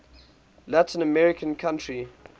latin american country